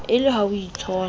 e le ha o itshola